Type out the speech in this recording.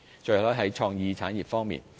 最後，是創意產業方面。